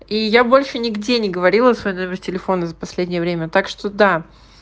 и я больше нигде не говорила свой номер телефона за последнее время так что да